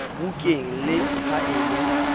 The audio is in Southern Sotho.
bukeng le ha e le